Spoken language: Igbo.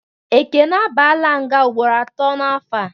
Ekene a baara nga mgboro atọ n'afọ a